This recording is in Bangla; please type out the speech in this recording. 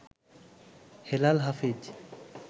হেলাল হাফিজ